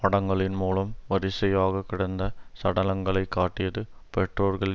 படங்களின் மூலம் வரிசையாக கிடந்த சடலங்களைக் காட்டியது பெற்றோர்கள்